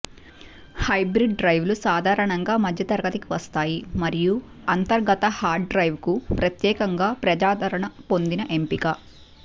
hybrid డ్రైవ్లు సాధారణంగా మధ్యతరగతికి వస్తాయి మరియు అంతర్గత హార్డ్ డ్రైవ్లకు ప్రత్యేకంగా ప్రజాదరణ పొందిన ఎంపిక